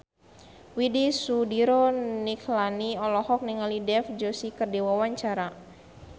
Widy Soediro Nichlany olohok ningali Dev Joshi keur diwawancara